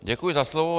Děkuji za slovo.